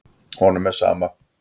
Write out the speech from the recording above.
Honum er sama.